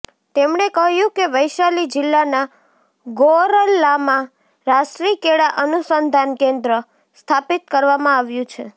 તેમણે કહ્યું કે વૈશાલી જિલ્લાના ગોરૌલમાં રાષ્ટ્રી કેળા અનુસંધાન કેન્દ્ર સ્થાપિત કરવામાં આવ્યું છે